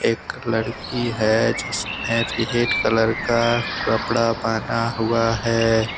एक लड़की है जिसने रेड कलर का कपड़ा पहना हुआ है।